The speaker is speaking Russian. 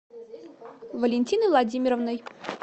валентиной владимировной